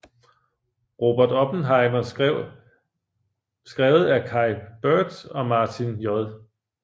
Robert Oppenheimer skrevet af Kai Bird og Martin J